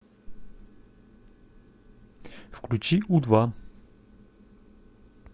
включи у два